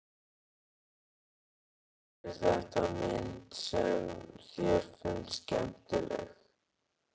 Sindri: Er þetta mynd sem þér finnst skemmtileg?